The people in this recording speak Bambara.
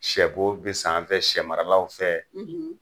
Sɛ bo bɛ san an fɛ, sɛ maralaw fɛ.